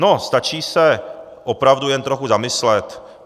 No, stačí se opravdu jen trochu zamyslet.